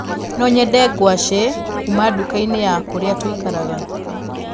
No nyende ngwacii kuuma ndukainĩ ya kũrĩa tũikaraga